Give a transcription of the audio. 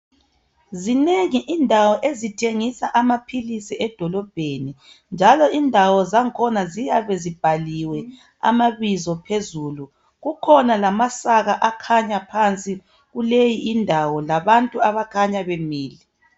Zinengi indawo ezithengisa amaphilisi edolobheni njalo indawo zakhona ziyabe zibhaliwe amabizo phezulu. Kukhona lamasaka akhanya phansi kuleyi indawo labantu abakhanya bemile